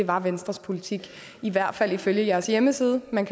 var venstres politik i hvert fald ifølge jeres hjemmeside man